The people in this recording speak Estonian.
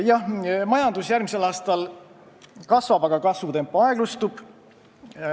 Jah, majandus järgmisel aastal kasvab, aga kasvutempo aeglustub.